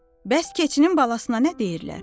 Bəs keçinin balasına nə deyirlər?